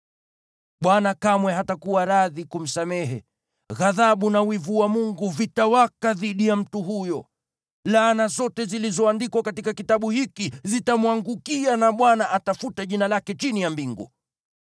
Bwana kamwe hatakuwa radhi kumsamehe, ghadhabu na wivu wa Mungu vitawaka dhidi ya mtu huyo. Laana zote zilizoandikwa katika kitabu hiki zitamwangukia na Bwana atafuta jina lake chini ya mbingu.